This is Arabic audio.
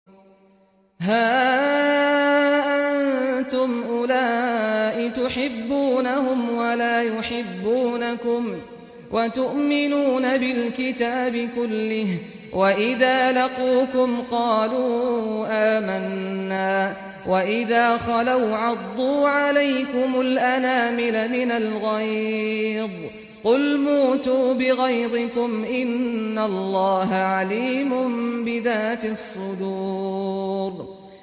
هَا أَنتُمْ أُولَاءِ تُحِبُّونَهُمْ وَلَا يُحِبُّونَكُمْ وَتُؤْمِنُونَ بِالْكِتَابِ كُلِّهِ وَإِذَا لَقُوكُمْ قَالُوا آمَنَّا وَإِذَا خَلَوْا عَضُّوا عَلَيْكُمُ الْأَنَامِلَ مِنَ الْغَيْظِ ۚ قُلْ مُوتُوا بِغَيْظِكُمْ ۗ إِنَّ اللَّهَ عَلِيمٌ بِذَاتِ الصُّدُورِ